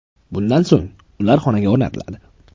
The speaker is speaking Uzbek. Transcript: Bundan so‘ng ular xonaga o‘rnatiladi.